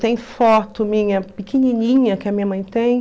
Tem foto minha, pequenininha, que a minha mãe tem.